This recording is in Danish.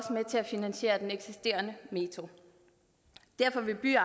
med til at finansiere den eksisterende metro derfor vil by og